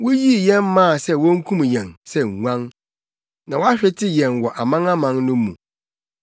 Wuyii yɛn maa sɛ wonkum yɛn sɛ nguan na woahwete yɛn wɔ amanaman no mu.